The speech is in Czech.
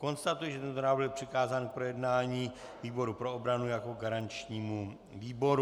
Konstatuji, že tento návrh byl přikázán k projednání výboru pro obranu jako garančnímu výboru.